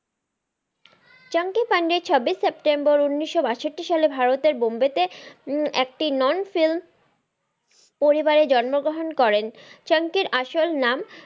চাঙ্কি পান্ডে ছাব্বিশ সেপ্টেম্বর উনিশশো বাষট্টি সালে ভারতের বোম্বে তে উম একটি non film পরিবারেতে জন্ম গ্রহন করেন চাঙ্কির আসল নাম,